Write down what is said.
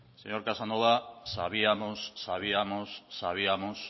señor casanova sabíamos sabíamos sabíamos